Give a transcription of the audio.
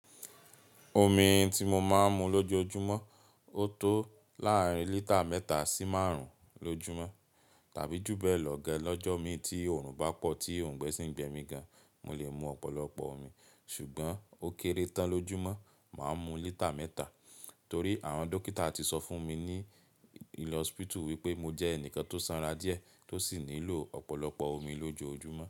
Omi ti mo máa ń mu lójoojúmọ́, ó tó láàrin lítà mẹ́ta sí márùn-ún lójúmọ́ tàbí jù bẹ́ẹ̀ lọ gan lọ́jọ́ mi tí oòrùn bá pọ̀ tí ọ̀ǹgbẹ sì ń gbẹ mí gan, mo lè mu ọ̀pọ̀lọpọ̀ omi. Ṣùgbọ́n ó kéré tán lójúmọ́, màá mu lítà mẹ́ta torí àwọn dókítà ti sọ fún mi ní hospital wípé mo jẹ́ ẹnìkan tó sanra díẹ̀ tó sì nílò ọ̀pọ̀lọpọ̀ omi lójoojúmọ́.